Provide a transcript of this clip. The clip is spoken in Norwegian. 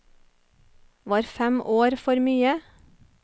Var fem år for mye?